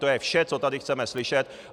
To je vše, co tady chceme slyšet.